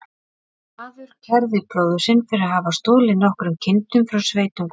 Maður kærði bróður sinn fyrir að hafa stolið nokkrum kindum frá sveitungum þeirra.